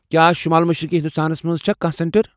کیٛاہ شٗمال مشرقی ہندوستانس منٛز چھا کانٛہہ سینٹر؟